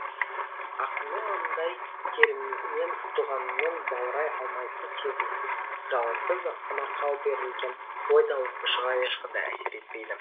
ақынның маңдай терімен туғанымен баурай алмайтын сезімсіз жалынсыз самарқау берілген ой да оқушыға ешқандай әсер етпейді